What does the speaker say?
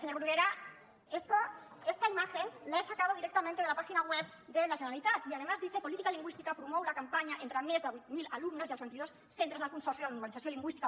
señor bruguera esta imagen la he sacado directamente de la página web de la generalitat y además dice política lingüística promou la campanya entre més de vuit mil alumnes i els vint i dos centres del consorci de normalització lingüística